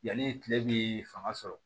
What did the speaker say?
Yanni tile bi fanga sɔrɔ